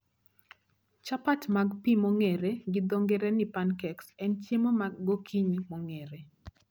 Chapat mag pii mong'ere gi dho ng'ere ni pancakes en chiemo ma gokinyi mong'ere